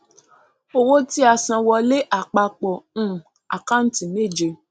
owó tíasanwọlé àpapọ um àkántì méje